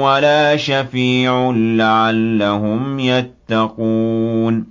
وَلَا شَفِيعٌ لَّعَلَّهُمْ يَتَّقُونَ